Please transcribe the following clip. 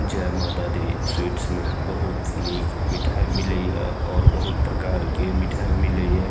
जय माता दी स्वीट्स मे बहुत निक मिठाई मिले ये और बहुत प्रकार के मिठाई मिले ये।